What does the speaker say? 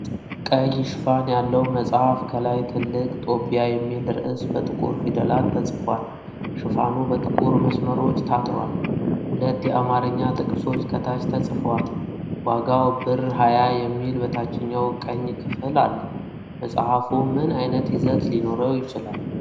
ቀይ ሽፋን ያለው መጽሐፍ። ከላይ ትልቅ ጦቢያ የሚል ርዕስ በጥቁር ፊደላት ተጽፏል። ሽፋኑ በጥቁር መስመሮች ታጥሯል። ሁለት የአማርኛ ጥቅሶች ከታች ተጽፈዋል። ዋጋው ብር ፳.፰፰ የሚል በታችኛው ቀኝ ክፍል አለ። መጽሐፉ ምን ዓይነት ይዘት ሊኖረው ይችላል?